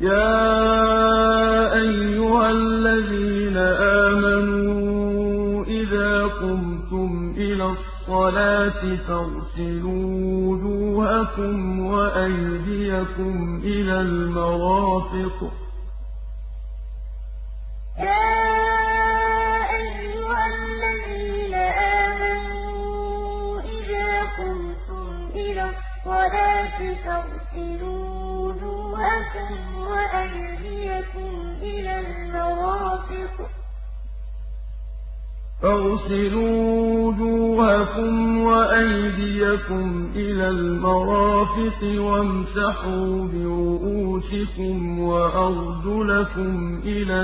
يَا أَيُّهَا الَّذِينَ آمَنُوا إِذَا قُمْتُمْ إِلَى الصَّلَاةِ فَاغْسِلُوا وُجُوهَكُمْ وَأَيْدِيَكُمْ إِلَى الْمَرَافِقِ وَامْسَحُوا بِرُءُوسِكُمْ وَأَرْجُلَكُمْ إِلَى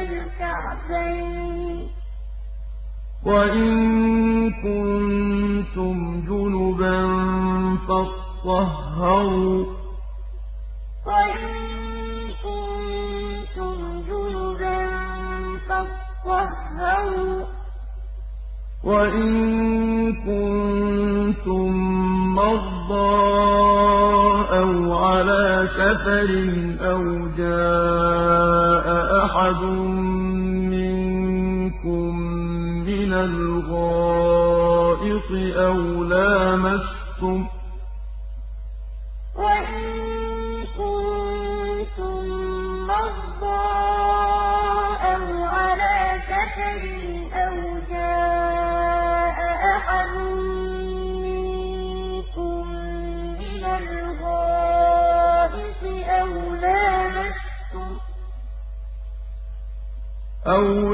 الْكَعْبَيْنِ ۚ وَإِن كُنتُمْ جُنُبًا فَاطَّهَّرُوا ۚ وَإِن كُنتُم مَّرْضَىٰ أَوْ عَلَىٰ سَفَرٍ أَوْ جَاءَ أَحَدٌ مِّنكُم مِّنَ الْغَائِطِ أَوْ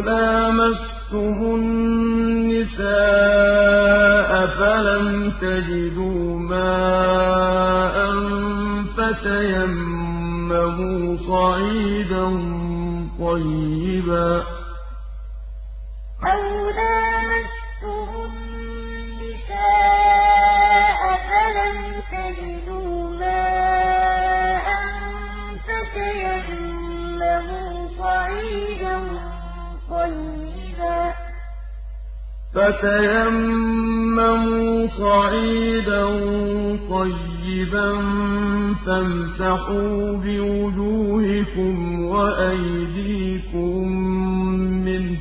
لَامَسْتُمُ النِّسَاءَ فَلَمْ تَجِدُوا مَاءً فَتَيَمَّمُوا صَعِيدًا طَيِّبًا فَامْسَحُوا بِوُجُوهِكُمْ وَأَيْدِيكُم مِّنْهُ ۚ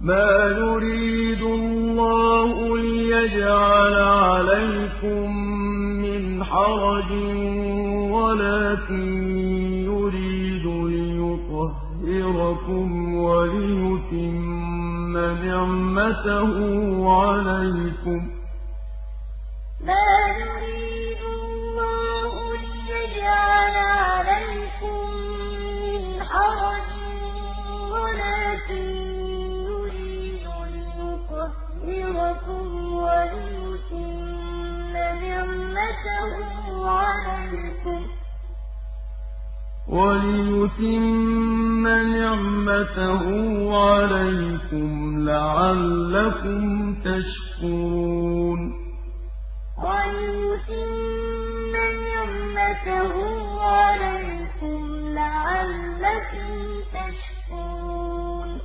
مَا يُرِيدُ اللَّهُ لِيَجْعَلَ عَلَيْكُم مِّنْ حَرَجٍ وَلَٰكِن يُرِيدُ لِيُطَهِّرَكُمْ وَلِيُتِمَّ نِعْمَتَهُ عَلَيْكُمْ لَعَلَّكُمْ تَشْكُرُونَ يَا أَيُّهَا الَّذِينَ آمَنُوا إِذَا قُمْتُمْ إِلَى الصَّلَاةِ فَاغْسِلُوا وُجُوهَكُمْ وَأَيْدِيَكُمْ إِلَى الْمَرَافِقِ وَامْسَحُوا بِرُءُوسِكُمْ وَأَرْجُلَكُمْ إِلَى الْكَعْبَيْنِ ۚ وَإِن كُنتُمْ جُنُبًا فَاطَّهَّرُوا ۚ وَإِن كُنتُم مَّرْضَىٰ أَوْ عَلَىٰ سَفَرٍ أَوْ جَاءَ أَحَدٌ مِّنكُم مِّنَ الْغَائِطِ أَوْ لَامَسْتُمُ النِّسَاءَ فَلَمْ تَجِدُوا مَاءً فَتَيَمَّمُوا صَعِيدًا طَيِّبًا فَامْسَحُوا بِوُجُوهِكُمْ وَأَيْدِيكُم مِّنْهُ ۚ مَا يُرِيدُ اللَّهُ لِيَجْعَلَ عَلَيْكُم مِّنْ حَرَجٍ وَلَٰكِن يُرِيدُ لِيُطَهِّرَكُمْ وَلِيُتِمَّ نِعْمَتَهُ عَلَيْكُمْ لَعَلَّكُمْ تَشْكُرُونَ